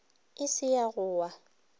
e se ya go wa